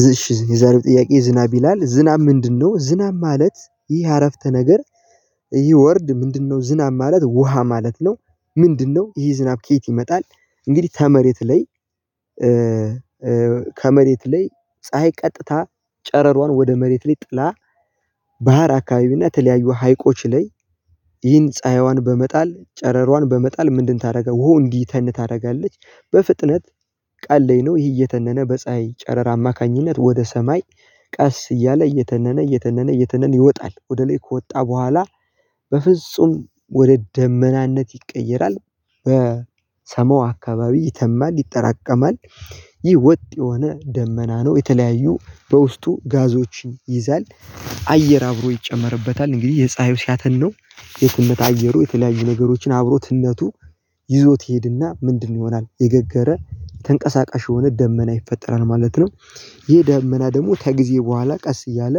እሽ የዛሬው ጥያቄ ዝናብ ይላል ዝናብ ምንድነው ዝናብ ማለት ይህ አረፍተ ነገር ይህ ወርድ ምንድነው? ዝናብ ማለት ውሃ ማለት ነው? ምንድነው ይሄ ዝናብ ከየት ይመጣል። እንግዲህ ተመሬት ላይ። ከመሬት ላይ ፀሀይ ቀጥታ ጨረሯን ወደ መሬት ሊጥላ ባህር አካባቢና የተለያዩ ሀይቆች ላይ ይህን ፀሀይዋን በመጣል ጨረሯን በመጣል ምንድን ታደርጋለች ውሃው እንዲተን ታደርጋለች። በፍጥነት ቃል ላይ ነው ይህ እየተነነ በፀሀይ ጨረር አማካኝነት ወደ ሰማይ። ቀስ እያለ እየተነነ እየተነነ እየተነነ ይወጣል ወደ ላይ ከወጣ በኋላ በፍጹም ወደ ደመናነት ይቀየራል። በሰማው አካባቢ ይተማል ይጠራቀማል። ይህ ወጥ የሆነ ደመና ነው የተለያዩ በውስጡ ጋዞችን ይይዛል። አየር አብሮ ይጨመርበታል እንግዲህ የፀሀዩ ሲያተን ነው የትነት አየሩ የተለያዩ ነገሮችን አብሮትነቱ ይዞት ይሄድና ምንድነው ይሆናል የገገረ ተንቀሳቃሽ የሆነ ደመና ይፈጠራል ማለት ነው። ይህ ይሄ ደመና ደግሞ ከጊዜ በኋላ ቀስ እያለ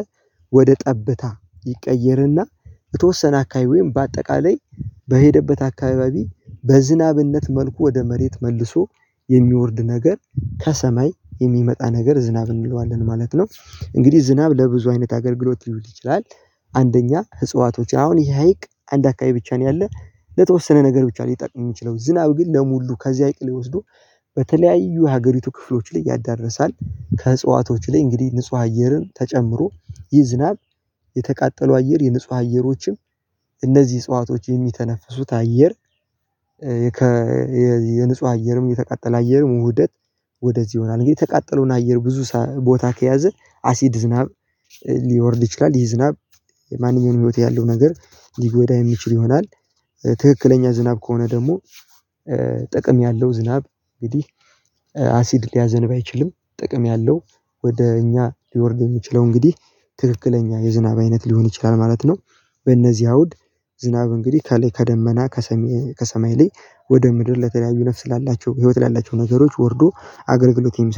ወደ ጠብታ ይቀየርና የተወሰነ አካባቢ ወይም በአጠቃላይ በሄደበት አካባቢ በዝናብነት መልኩ ወደ መሬት መልሶ የሚወርድ ነገር ከሰማይ የሚመጣ ነገር ዝናብ እንለዋለን ማለት ነው እንግዲህ ዝናብ ለብዙ አይነት አገልግሎት ሊውል ይችላል። አንደኛ ህጽዋቶች አሁን ይሄ ሀይቅ አንድ አካባቢ ብቻ ነው ያለው ለተወሰነ ነገር ብቻ ነው የሚጠቅም የሚችለው ዝናብ ግን ለሙሉ ከዚህ ሀይቅ ሊወስዱ በተለያዩ ሀገሪቱ ክፍሎች ላይ ያዳርሳል። ከህጽዋቶች ላይ እንግዲህ ንጹህ አየርን ተጨምሮ ይህ ዝናብ የተቃጠሉ አየር የንጹህ አየሮችን እነዚህ እጽዋቶች የሚተነፍሱት አየር የንጹህ አየርም የተቃጠለ አየርም ውህደት ወደዚህ ይሆናል እንግዲህ የተቃጠለውን አየር ብዙ ቦታ ከያዘ አሲድ ዝናብ። ሊወርድ ይችላል ይህ ዝናብ ማንኛውንም ህይወት ያለው ነገር ሊጎዳ የሚችል ይሆናል። ትክክለኛ ዝናብ ከሆነ ደግሞ ጥቅም ያለው ዝናብ እንግዲህ አሲድ ሊያዘንብ አይችልም። ጥቅም ያለው ወደ እኛ ሊወርድ የሚችለው እንግዲህ ትክክለኛ የዝናብ አይነት ሊሆን ይችላል ማለት ነው። በእነዚህ አውድ ዝናብ እንግዲህ ከላይ ከደመና ከሰሜ ከሰማይ ላይ ወደ ምድር ለተለያዩ ነፍስ ላላቸው ህይወት ላላቸው ነገሮች ወርዶ አገርግሎት የሚሰጥ